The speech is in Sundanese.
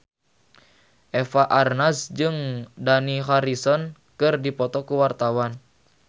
Eva Arnaz jeung Dani Harrison keur dipoto ku wartawan